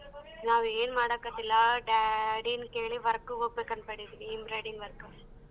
ನಾವ್ ಏನ್ ಮಾಡಕ್ಕತ್ತಿಲ್ಲ daddy ನ್ ಕೇಳಿ work ಗ್ ಹೋಗ್ಬೇಕ್ ಅನ್ಕಂಡಿದೀನಿ embroidering work.